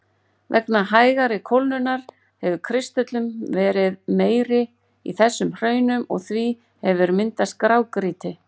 Vegna hægari kólnunar hefur kristöllun verið meiri í þessum hraunum og því hefur myndast grágrýti.